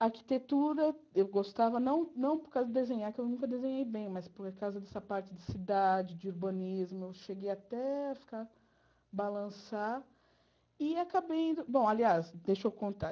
A arquitetura eu gostava não não por causa de desenhar, porque eu nunca desenhei bem, mas por causa dessa parte de cidade, de urbanismo, eu cheguei até a ficar balançar e acabei indo... Bom, aliás, deixa eu contar.